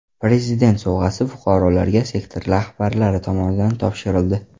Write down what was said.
Prezident sovg‘asi fuqarolarga sektor rahbarlari tomonidan topshirildi.